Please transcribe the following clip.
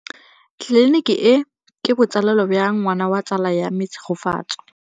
Tleliniki e, ke botsalêlô jwa ngwana wa tsala ya me Tshegofatso.